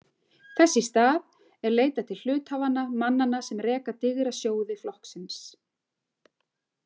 Þess í stað er leitað til hluthafanna, mannanna sem reka digra sjóði flokksins.